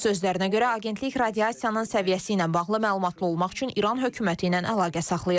Onun sözlərinə görə, agentlik radiasiyanın səviyyəsi ilə bağlı məlumatlı olmaq üçün İran hökuməti ilə əlaqə saxlayır.